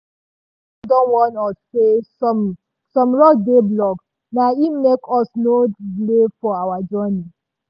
news report don warn us say some some roads dey blocked na im make us nor delay for our journey.